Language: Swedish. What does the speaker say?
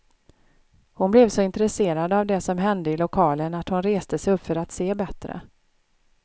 Hon blev så intresserad av det som hände i lokalen, att hon reste sig upp för att se bättre.